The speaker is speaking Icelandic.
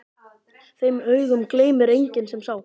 Þeim augum gleymir enginn sem sá.